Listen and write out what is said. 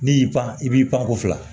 N'i y'i pan i b'i pan ko fila